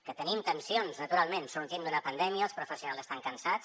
que tenim tensions naturalment sortim d’una pandèmia els professionals estan cansats